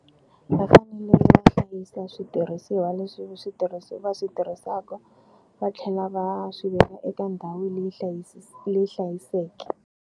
Va fanele va hlayisa switirhisiwa leswi va swi tirhisaka va tlhela va swi veka eka ndhawu leyi leyi hlayisekeke.